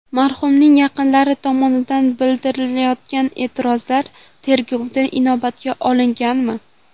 Marhumning yaqinlari tomonidan bildirilayotgan e’tirozlar tergovda inobatga olinganmi?